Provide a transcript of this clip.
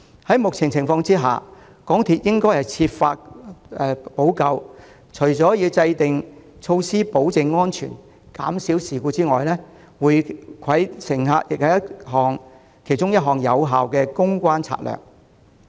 在目前情況下，港鐵應設法補救，除了制訂措施保證安全和減少事故外，回饋乘客也是有效的公關策略之一。